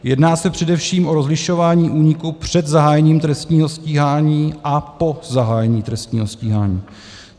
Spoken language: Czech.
Jedná se především o rozlišování úniků před zahájením trestního stíhání a po zahájení trestního stíhání.